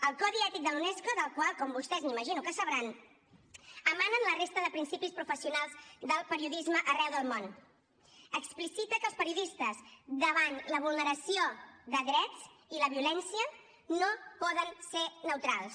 el codi ètic de la unesco del qual com vostès imagino que sabran emanen la resta de principis professionals del periodisme arreu del món explicita que els periodistes davant la vulneració de drets i la violència no poden ser neutrals